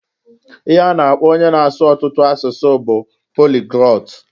Ihe a na-akpo onye na-asu ọtụtụ asụsụ bu poliglot.